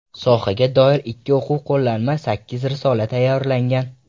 Sohaga doir ikki o‘quv qo‘llanma, sakkiz risola tayyorlangan.